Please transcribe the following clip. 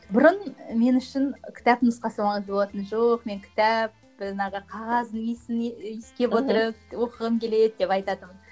бұрын мен үшін кітап нұсқасы ғана болатын жоқ мен кітап жаңағы қағаздың иісін иіскеп отырып оқығым келеді деп айтатынмын